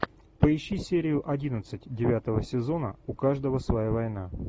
поищи серию одиннадцать девятого сезона у каждого своя война